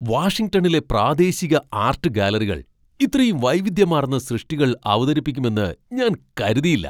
വാഷിംഗ്ടണിലെ പ്രാദേശിക ആർട്ട് ഗാലറികൾ ഇത്രയും വൈവിധ്യമാർന്ന സൃഷ്ടികൾ അവതരിപ്പിക്കുമെന്ന് ഞാൻ കരുതിയില്ല.